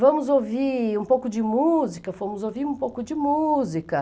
Vamos ouvir um pouco de música, fomos ouvir um pouco de música.